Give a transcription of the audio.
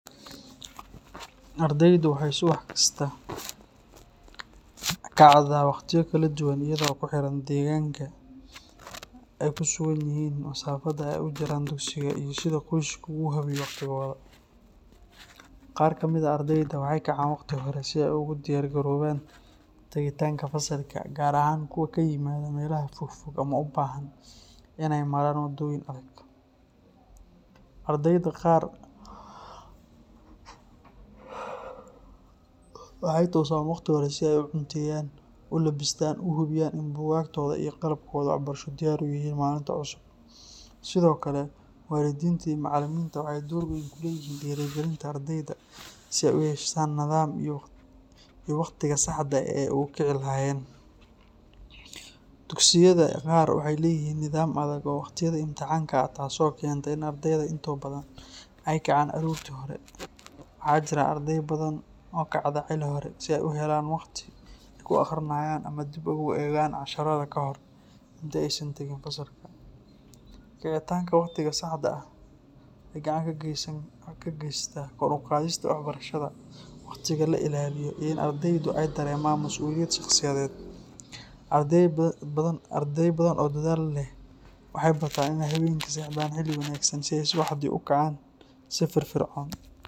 Ardeydu waxay subax kasta ka kacdaa waqtiyo kala duwan iyadoo ku xiran deegaanka ay ku sugan yihiin, masaafada ay u jiraan dugsiga, iyo sida qoyskoodu u habeeyo waqtigooda. Qaar ka mid ah ardeyda waxay kacaan waqti hore si ay ugu diyaar garoobaan tagitaanka fasalka, gaar ahaan kuwa ka yimaada meelaha fogfog ama u baahan inay maraan waddooyin adag. Ardeyda qaar waxay toosaan waqti hore si ay u cunteeyaan, u lebistaan, oo u hubiyaan in buugaagtooda iyo qalabkooda waxbarasho diyaar u yihiin maalinta cusub. Sidoo kale, waalidiinta iyo macallimiinta waxay door weyn ku leeyihiin dhiirrigelinta ardeyda si ay u yeeshaan nidaam iyo waqtiga saxda ah ee ay ku kici lahaayeen. Dugsiyada qaar waxay leeyihiin nidaam adag oo waqtiga imaatinka ah, taasoo keenta in ardeyda intooda badan ay kacaan aroortii hore. Waxaa jira ardey badan oo kacda xilli hore si ay u helaan waqti ay ku akhriyaan ama dib ugu eegaan casharrada kahor inta aysan tagin fasalka. Kicitaanka waqtiga saxda ah waxay gacan ka geysataa kor u qaadista waxbarashada, waqtiga la ilaaliyo, iyo in ardeydu ay dareemaan masuuliyad shaqsiyadeed. Ardey badan oo dadaal badan leh waxay bartaan inay habeenkii seexdaan xilli wanaagsan si ay subaxii u kacaan si firfircoon.